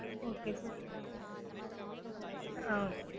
okay sir ah okay